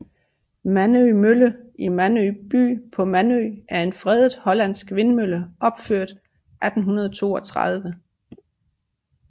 Mandø Mølle i Mandø by på Mandø er en fredet hollandsk vindmølle opført 1832